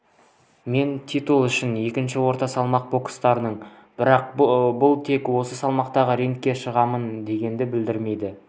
мен титул үшін екінші орта салмақта бокстасамын бірақ бұл тек осы салмақта рингке шығамын дегенді білдірмейді